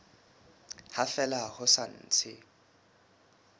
ha fela ho sa ntse